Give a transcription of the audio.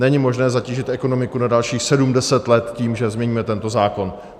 Není možné zatížit ekonomiku na dalších sedm, deset let tím, že změníme tento zákon.